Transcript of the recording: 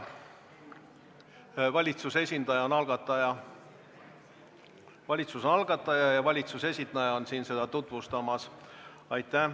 Valitsus on algataja ja valitsuse esindaja on siin seda eelnõu tutvustamas.